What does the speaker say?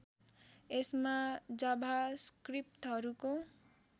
यसमा जाभास्क्रिप्टहरूको